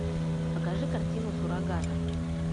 покажи картину суррогаты